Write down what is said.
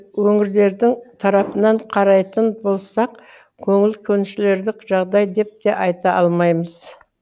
өңірлердің тарапынан қарайтын болсақ көңіл көншілерлік жағдай деп те айта алмаймыз